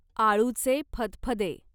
आळूचे फदफदे